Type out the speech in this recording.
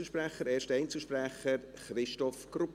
Es ist schon der erste Einzelsprecher, Christoph Grupp.